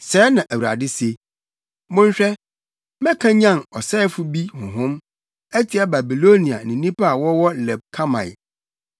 Sɛɛ na Awurade se: “Monhwɛ, mɛkanyan ɔsɛefo bi honhom atia Babilonia ne nnipa a wɔwɔ Leb Kamai.